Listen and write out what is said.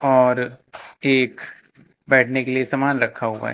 और एक बैठने के लिए सामान रखा हुआ है।